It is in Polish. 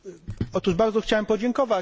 Otóż bardzo chciałem podziękować.